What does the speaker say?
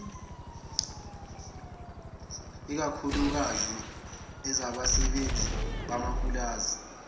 ikakhuklukazi ezabasebenzi bamapulazi